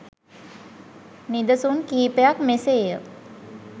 නිදසුන් කිහිපයක් මෙසේ ය.